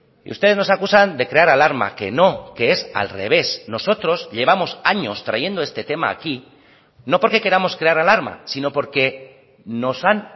y ustedes nos acusan de crear alarma que no que es al revés nosotros llevamos años trayendo este tema aquí no porque queramos crear alarma sino porque nos han